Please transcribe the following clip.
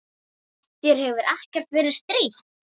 Þér hefur ekkert verið strítt?